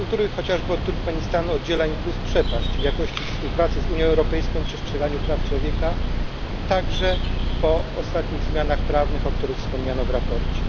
Chociażby od Turkmenistanu oddziela go przepaść w jakości współpracy z Unią Europejską i przestrzeganiu praw człowieka, także po ostatnich zmianach prawnych, o których wspomniano w raporcie.